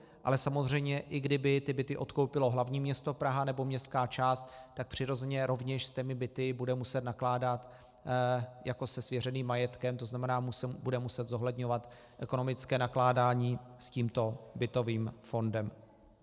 Ale samozřejmě i kdyby ty byty odkoupilo hlavní město Praha nebo městská část, tak přirozeně rovněž s těmi byty bude muset nakládat jako se svěřeným majetkem, to znamená, bude muset zohledňovat ekonomické nakládání s tímto bytovým fondem.